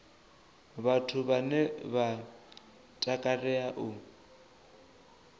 vhathu vhane vha takalea u